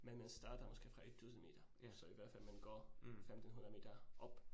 Men man starter måske fra 1000 meter, så i hvert fald man går måske 1500 meter op